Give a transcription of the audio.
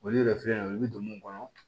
Olu yɛrɛ filɛ nin ye i bi don mun kɔnɔ